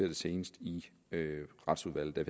det seneste i retsudvalget da